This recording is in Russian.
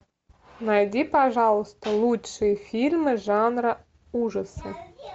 найди пожалуйста лучшие фильмы жанра ужасы